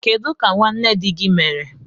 Kedu ka nwanne di gị mere?